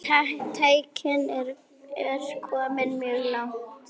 Tæknin er komin mjög langt.